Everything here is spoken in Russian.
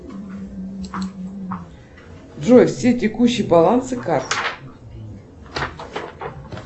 джой все текущие балансы карт